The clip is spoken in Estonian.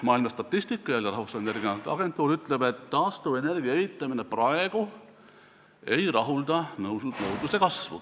Maailma statistika, jälle Rahvusvaheliselt Energiaagentuurilt, ütleb, et taastuvenergia evitamine ei rahulda praegu nõudluse kasvu.